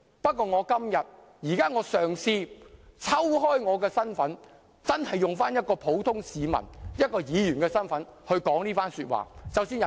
不過，我現在嘗試抽身，真的以一個普通市民和議員的身份說出這番說話。